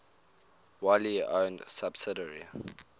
wholly owned subsidiary